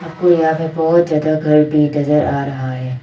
कोई आगे बहुत ज्यादा घर नजर आ रहा है।